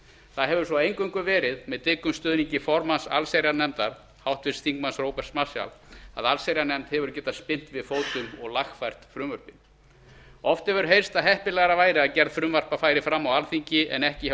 það hefur svo eingöngu verið með dyggum stuðningi formanns allsherjarnefndar háttvirtur þingmaður róberts marshalls að allsherjarnefnd hefur getað spyrnt við fótum og lagfært frumvörpin oft hefur heyrst að heppilegra væri að gerð frumvarpa færi fram á alþingi en ekki hjá